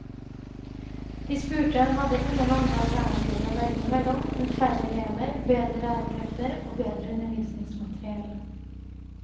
De spurte hadde ingen andre alternativer å velge mellom enn færre elever, bedre lærerkrefter og bedre undervisningsmateriell.